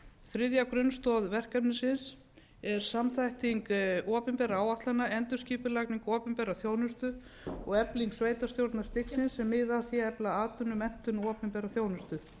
þriðja grunnstoð verkefnisins er samþætting opinberra áætlana endurskipulagning opinberrar þjónustu og efling sveitarstjórnarstigsins sem miðar að því að efla atvinnu menntun og opinbera þjónustu